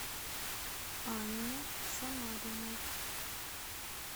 анне самариной